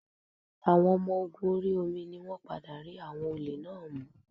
Àwọn ọmọ ogun orí omi ni wọ́n padà rí àwọn olè náà mú